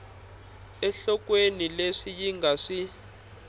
enhlokweni leswi yi nga swi